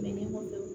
Mɛ ɲɔgɔn dɔn